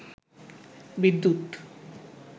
বিদ্যুৎ